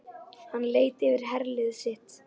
Hann leit yfir herlið sitt.